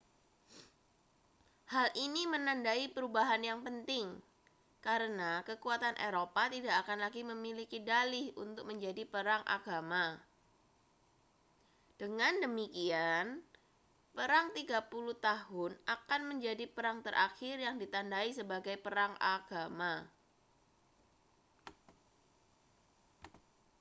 hal ini menandai perubahan yang penting karena kekuatan eropa tidak akan lagi memiliki dalih untuk menjadi perang agama dengan demikian perang tiga puluh tahun akan menjadi perang terakhir yang ditandai sebagai perang agama